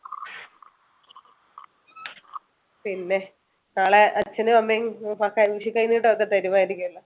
പിന്നെ നാളെ അച്ഛനും അമ്മയും വിഷു കൈനീട്ടം ഒക്കെ തരുമായിരിക്കുമല്ലേ?